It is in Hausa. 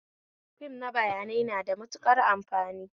Fim na bayanai na da matuƙar amfani